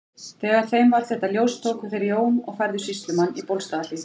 Þegar þeim varð þetta ljóst tóku þeir Jón og færðu fyrir sýslumann í Bólstaðarhlíð.